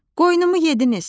Qoynumu yediniz.